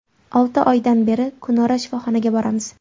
Olti oydan beri kunora shifoxonaga boramiz.